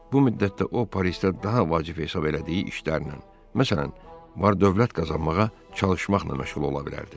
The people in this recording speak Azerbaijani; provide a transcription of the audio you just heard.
Bu müddətdə o Parisdə daha vacib hesab elədiyi işlərlə, məsələn, var-dövlət qazanmağa çalışmaqla məşğul ola bilərdi.